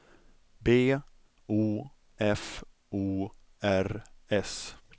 B O F O R S